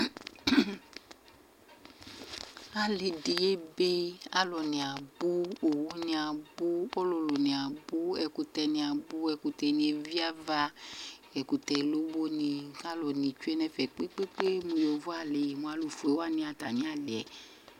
Ali dɩ ebe, alu nɩ abʋ, owʋ nɩ abʋ, ɔlʋlʋ nɩ abʋ, ɛkʋtɛ nɩ abʋ, ɛkʋtɛ nɩ eviava, ɛkʋtɛlobo nɩ kʋ alʋ nɩ tsʋe nʋ ɛfɛ kpekpe kpekpe mʋ yovoali, mʋ alʋfue wanɩ atamɩ ali yɛ